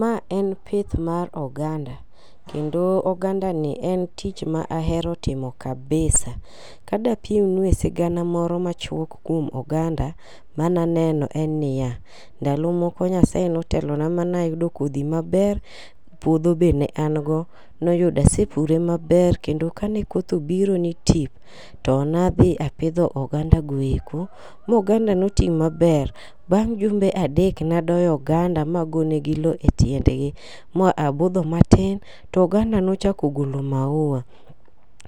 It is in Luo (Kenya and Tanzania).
Ma en pith mar oganda, kendo ogandani en tich ma ahero timo kabisa Ka dapim nue sigana moro machuok kuom oganda, mane aneno en niya. Ndalo moko Nyasaye ne otelona mane ayudo kodhi maber puodho be ne an go. Ne oyudo asepure maber kendo kane kothe obiro ni tip, to nadhi apidho oganda goeko, ma oganda ne oti maber. Bang' jumbe adek ne agoyo oganda ma ago negi lowo etiengi ma abudho matin. To oganda nochako golo mauwa,